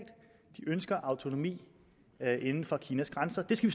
de ønsker autonomi inden for kinas grænser det skal